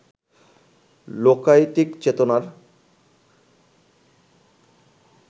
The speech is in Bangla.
লোকায়তিক চেতনার